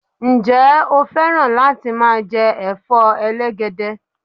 Ǹjẹ́ o fẹ́ràn láti máa jẹ Ẹ̀fọ́ elegede?